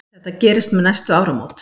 Þetta gerist um næstu áramót.